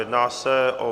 Jedná se o